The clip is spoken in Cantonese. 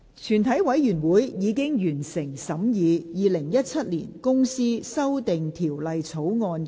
全體委員會已完成審議《2017年公司條例草案》的所有程序。